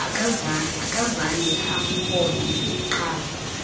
akazange amhoye uqala